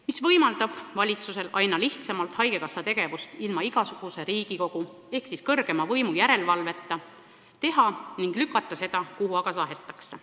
See võimaldab valitsusel aina lihtsamalt suunata haigekassa tegevust ilma igasuguse Riigikogu ehk kõrgeima võimu järelevalveta ning lükata seda, kuhu aga tahetakse.